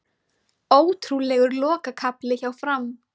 Ótrúlegur lokakafli hjá Fram